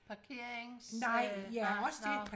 Parkerings øh nej nå